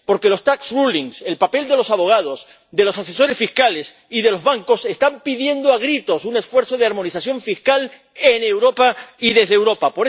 Porque las resoluciones fiscales, el papel de los abogados, de los asesores fiscales y de los bancos están pidiendo a gritos un esfuerzo de armonización fiscal en Europa y desde Europa.